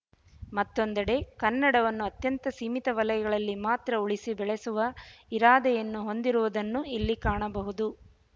ಮತ್ತೊಂದೆಡೆ ಕನ್ನಡವನ್ನು ಅತ್ಯಂತ ಸೀಮಿತ ವಲಯಗಳಲ್ಲಿ ಮಾತ್ರ ಉಳಿಸಿ ಬೆಳೆಸುವ ಇರಾದೆಯನ್ನು ಹೊಂದಿರುವುದನ್ನೂ ಇಲ್ಲಿ ಕಾಣಬಹುದು